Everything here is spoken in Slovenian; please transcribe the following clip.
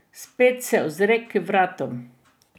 Spet se ozre k vratom.